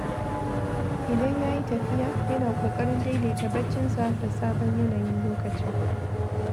Idan ya yi tafiya, yana ƙoƙarin daidaita barcinsa da sabon yanayin lokaci.